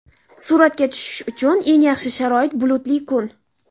Suratga tushish uchun eng yaxshi sharoit bulutli kun.